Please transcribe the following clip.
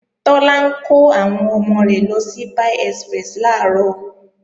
Tọ́lá ń kọ́ àwọn ọmọ rẹ̀ lọ sí Pie Express làárọ̀